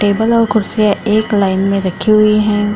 Table और कुर्सियाँ एक लाइन में रखी हुई हैं।